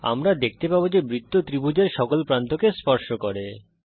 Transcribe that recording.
আমরা দেখতে পাবো যে বৃত্ত ত্রিভুজের সকল প্রান্তকে স্পর্শ করে